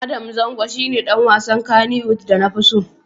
Adam Zango shi ne ɗan wasan Kannywood da na fi so.